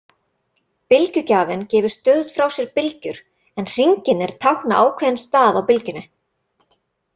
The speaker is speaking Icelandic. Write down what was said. Bylgjugjafinn gefur stöðugt frá sér bylgjur en hringirnir tákna ákveðinn stað á bylgjunni.